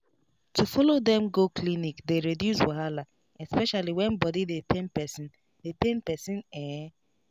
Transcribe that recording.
to follow dem go clinic dey reduce wahala especially when body dey pain person dey pain person en